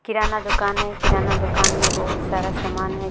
किराना दुकान है किराना दुकान में बहुत सारा सामान है।